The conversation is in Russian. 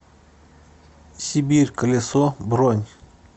сибирь колесо бронь